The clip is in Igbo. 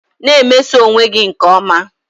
Na-emeso onwe gị nke ọma